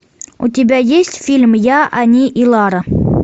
у тебя есть фильм я они и лара